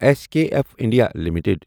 S K F India limited